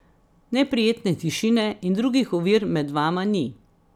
Neprijetne tišine in drugih ovir med vama ni.